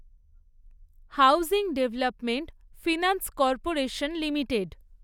housing development finance corporation limited